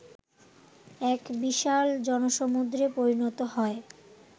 এক বিশাল জনসমুদ্রে পরিণত হয়